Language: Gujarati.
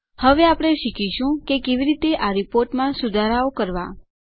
હવે આપણે શીખીશું કે કેવી રીતે આ રીપોર્ટમાં સુધારાં કરવાં